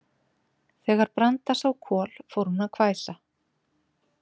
Þegar Branda sá Kol fór hún að hvæsa.